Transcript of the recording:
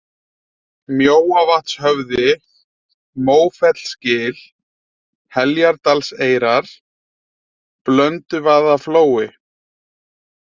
Mjóavatnshöfði, Mófellsgil, Heljardalseyrar, Blönduvaðaflói